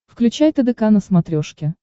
включай тдк на смотрешке